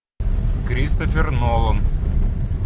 кристофер нолан